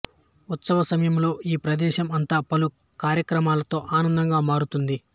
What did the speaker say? ఉత్సవసమయంలో ఈ ప్రదేశం అంతా పలు కార్యక్రమాలతో అందంగా మారుతుంది